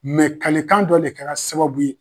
kalekan dɔ de kɛra sababu ye.